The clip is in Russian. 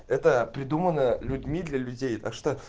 это придумано людьми для людей так что